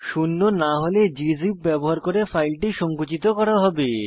শূন্য না হলে গজিপ ব্যবহার করে ফাইলটি সংকুচিত করা হবে